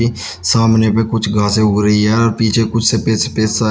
सामने पे कुछ घासे उग रही है पीछे कुछ सफेद सफेद सा--